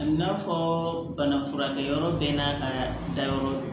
A n'a fɔ bana furakɛyɔrɔ bɛɛ n'a ka dayɔrɔ ye